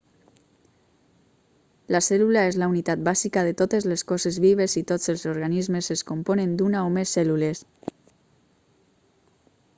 la cèl·lula és la unitat bàsica de totes les coses vives i tots els organismes es componen d'una o més cèl·lules